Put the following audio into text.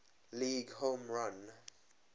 league home run